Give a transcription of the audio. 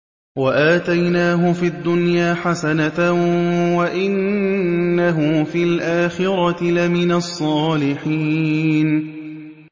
وَآتَيْنَاهُ فِي الدُّنْيَا حَسَنَةً ۖ وَإِنَّهُ فِي الْآخِرَةِ لَمِنَ الصَّالِحِينَ